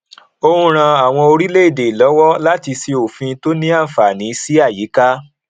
ó ń ràn àwọn orílẹèdè lọwọ láti ṣe òfin tó ní àǹfààní sí àyíká